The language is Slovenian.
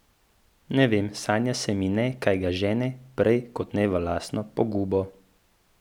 Ne vem, sanja se mi ne, kaj ga žene prej kot ne v lastno pogubo.